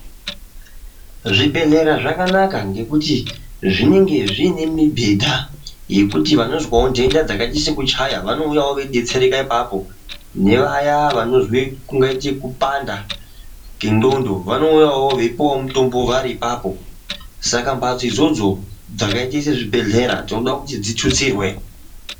Zvibhedhlera zvakanaka ngekuti zvinenge zvine mibhedha, yekuti vanozwawo nhenda dzakaita sekuchaya vanouyawo veidetsereka ipapo. Nevaya vanozwe, kungaite kupanda kwendxondo vanouyawo veipuwa mutombo vari ipapo, saka mhatso idzodzo dzakaita sezvibhedhlera tinoda kuti dzitutsirwe.